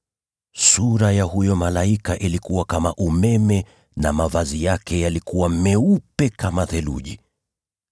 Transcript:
Sura ya huyo malaika ilikuwa kama umeme, na mavazi yake yalikuwa meupe kama theluji.